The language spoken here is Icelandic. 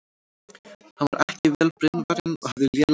Hann var ekki vel brynvarinn og hafði lélega fallbyssu.